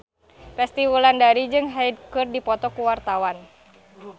Resty Wulandari jeung Hyde keur dipoto ku wartawan